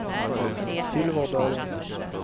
Silverdalen